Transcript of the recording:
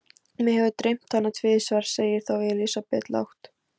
Mig hefur dreymt hana tvisvar, segir þá Elísabet lágt.